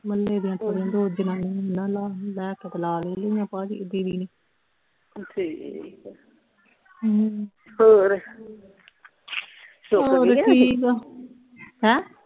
ਮੰਨੇ ਦੇ ਲਾ ਲਈਆਂ ਭਾਜੀ ਦੀਦੀ ਨੇ ਠੀਕ ਆ ਹਮ ਹੋਰ ਸੁੱਕ ਦੀਆਂ ਹਜੇ ਠੀਕ ਆ ਹੈਂ